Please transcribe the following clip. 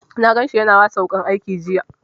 Na gan shi ya na wasa da wuƙar aiki jiya